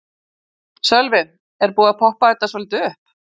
Sölvi: Er búið að poppa þetta svolítið upp?